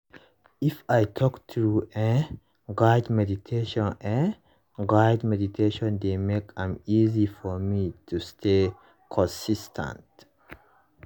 if i talk true eh guided meditation eh guided meditation dey make am easy for me to stay consis ten t